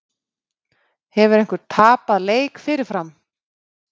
Hefur einhver tapað leik fyrirfram?